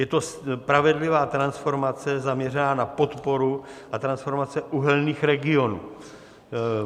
Je to spravedlivá transformace zaměřená na podporu a transformace uhelných regionů.